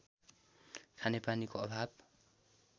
खानेपानीको अभाव